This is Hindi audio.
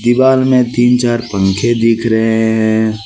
दीवार में तीन चार पंखे दिख रहे हैं।